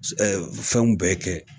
Ɛ fɛnw bɛɛ kɛ